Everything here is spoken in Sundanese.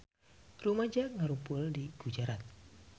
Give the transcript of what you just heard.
Rumaja ngarumpul di Gujarat